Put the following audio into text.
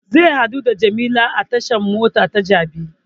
Zai haɗu da jamila a tashan mota ta jabi